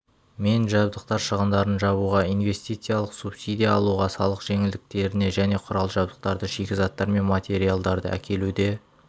мен жабдықтар шығындарын жабуға инвестициялық субсидия алуға салық жеңілдіктеріне және құрал-жабдықтарды шикізаттар мен материалдарды әкелуде